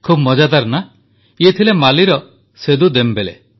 ଖୁବ୍ ମଜାଦାର ନା ଇଏ ଥିଲେ ମାଲିର ସେଦୁ ଦେମବେଲେ